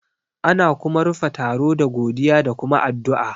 Ana kuma rufe taro da godiya da kuma addu'a